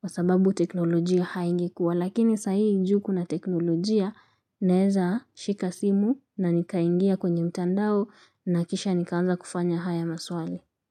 kwa sababu teknolojia haingekuwa. Lakini sa hii ju kuna teknolojia, naweza shika simu na nikaingia kwenye mtandao na kisha nikaanza kufanya haya maswali.